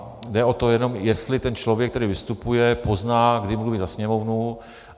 A jde o to jenom, jestli ten člověk, který vystupuje, pozná, kdy mluví za Sněmovnu.